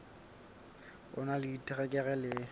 o na le diterekere le